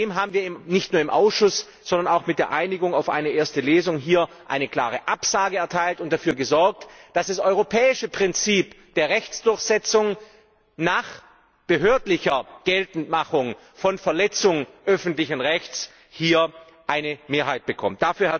Dem haben wir nicht nur im Ausschuss, sondern auch mit der Einigung auf eine erste Lesung hier eine klare Absage erteilt und dafür gesorgt, dass das europäische Prinzip der Rechtsdurchsetzung nach behördlicher Geltendmachung von Verletzung öffentlichen Rechts hier eine Mehrheit bekommt.